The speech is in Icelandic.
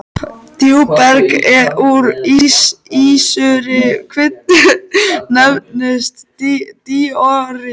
Djúpberg úr ísúrri kviku nefnist díorít.